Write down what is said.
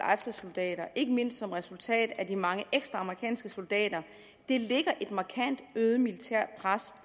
soldater ikke mindst som resultat af de mange ekstra amerikanske soldater lægger et markant øget militært pres